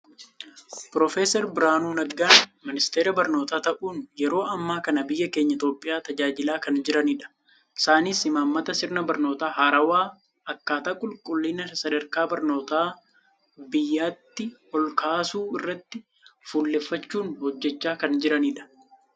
piroofeesar Birhaanuu Naggaan, ministeera barnootaa ta'uun yeroo ammaa kana biyya keenya Itoophiyaa tajaajilaa kan jiranidha. Isaanis imaammata sirna barnoota haarawaa, akkaataa qulqulliina sadarkaa barnootaa biyyattii ol kaasuu irratti fuulleffachuun hojjechaa kan jiranidha.